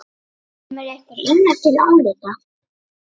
Kemur einhver annar til álita?